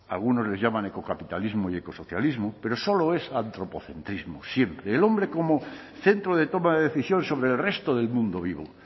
algunos les llaman ecocapitalismo y ecosocialismo pero solo es antropocentrismo siempre el hombre como centro de toma de decisión sobre el resto del mundo vivo